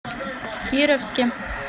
кировске